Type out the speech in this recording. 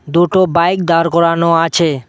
দুটো বাইক দাঁড় করানো আছে।